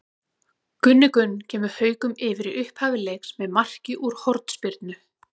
Gunni Gunn kemur Haukum yfir í upphafi leiks með marki úr hornspyrnu.